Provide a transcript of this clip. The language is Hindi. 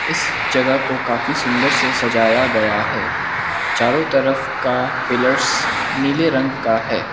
इस जगह को काफी सुंदर से सजाया गया है चारों तरफ का पिलर्स नीले रंग का है।